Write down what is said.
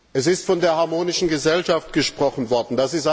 Es ist von der harmonischen Gesellschaft gesprochen worden.